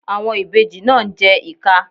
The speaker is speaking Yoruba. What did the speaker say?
Àwọn ìbejì náà ń jẹ́ ìka.